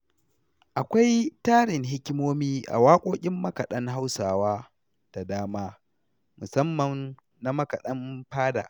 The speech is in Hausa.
Akwai tarin hikimomi a waƙoƙin makaɗan Hausa da dama, musamman na makaɗan fada.